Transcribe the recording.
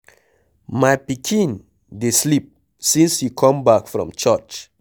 My pikin dey sleep since he come back from church.